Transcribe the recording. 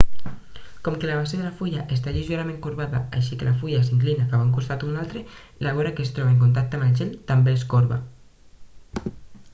com que la base de la fulla està lleugerament corbada així que la fulla s'inclina cap a un costat o un altre la vora que es troba en contacte amb el gel també es corba